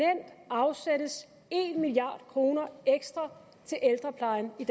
milliard kroner ekstra til ældreplejen i